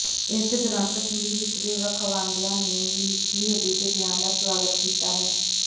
ਇਸੇ ਦੌਰਾਨ ਕਸ਼ਮੀਰ ਵਿਚਲੇ ਵੱਖਵਾਦੀਆਂ ਨੇ ਵੀ ਨਿੱਕੀ ਹੇਲੀ ਦੇ ਬਿਆਨ ਦਾ ਸਵਾਗਤ ਕੀਤਾ ਹੈ